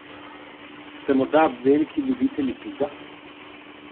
Ste morda veliki ljubitelji piva?